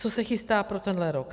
Co se chystá pro tenhle rok.